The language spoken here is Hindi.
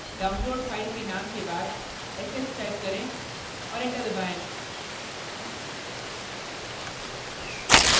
downloaded file के name के बाद sh type करें और enter दबाएँ